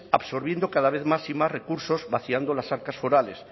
absorbiendo cada vez más y más recursos vaciando las arcas forales